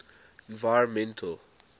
environmental